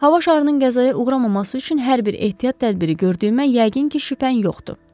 Hava şarının qəzaya uğramaması üçün hər bir ehtiyat tədbiri gördüyümə yəqin ki, şübhən yoxdur.